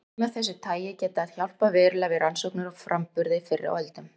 Dæmi af þessu tagi geta hjálpað verulega við rannsóknir á framburði fyrr á öldum.